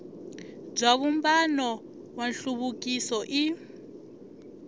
bya vumbano wa nhluvukiso i